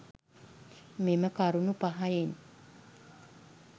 මෙම කරුණු පහෙන්